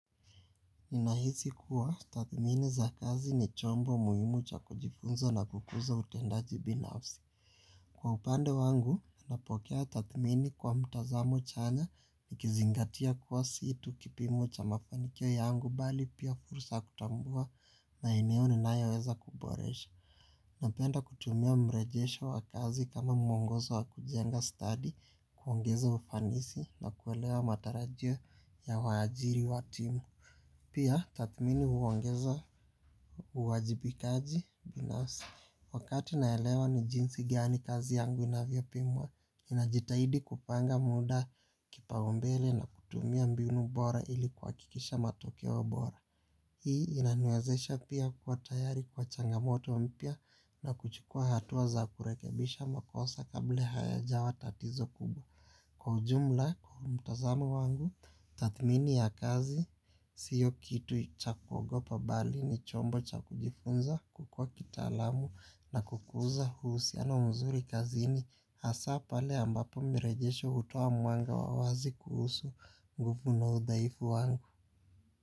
Ninahisi kuwa tathmini za kazi ni chombo muhimu cha kujifunza na kukuza utendaji binafsi. Kwa upande wangu, napokea tathmini kwa mtazamo chanya nikizingatia kuwa si tu kipimo cha mafanikiyo yangu bali pia fursa kutambua maeneo ninayo weza kuboresha. Napenda kutumia mrejesho wa kazi kama mwongozo wa kujenga stadi kuongeza ufanisi na kuelewa matarajio ya waajiri wa timu. Pia tathmini huongeza huwajibikaji binafsi. Wakati naelewa ni jinsi gani kazi yangu inavyo pimwa, ninajitahidi kupanga muda kipaumbele na kutumia mbinu bora ili kuhakikisha matokeo bora. Hii inaniwezesha pia kuwa tayari kwa changamoto mpya na kuchukua hatua za kurekebisha makosa kable haya jawa tatizo kubwa. Kwa ujumla mtazamo wangu, tathmini ya kazi, sio kitu cha kuogopa bali ni chombo cha kujifunza kukua kitaalamu na kukuza uhusiano mzuri kazini hasa pale ambapo mirejesho utoa mwanga wa wazi kuhusu uovu unaodhaifu wangu.